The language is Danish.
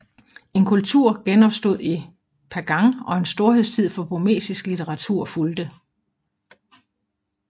En kultur genopstod i Pagan og en storhedstid for burmesisk litteratur fulgte